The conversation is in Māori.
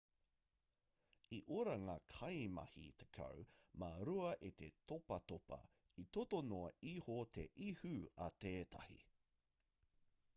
i ora ngā kaimahi tekau mā rua e te topatopa i toto noa iho te ihu a tētahi